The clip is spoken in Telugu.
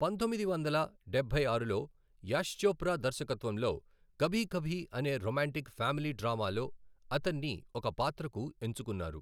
పంతొమ్మిది వందల డబ్బై ఆరులో యాష్ చోప్రా దర్శకత్వంలో 'కభీ కభీ' అనే రొమాంటిక్ ఫ్యామిలీ డ్రామా లో అతన్నిఒక పాత్రకు ఎంచుకున్నారు .